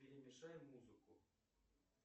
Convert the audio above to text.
перемешай музыку